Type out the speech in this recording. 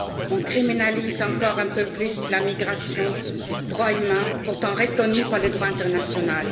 On criminalise encore un peu plus la migration, droit humain pourtant reconnu par le droit international.